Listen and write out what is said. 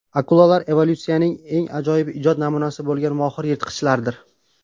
Akulalar evolyutsiyaning eng ajoyib ijod namunasi bo‘lgan mohir yirtqichlardir.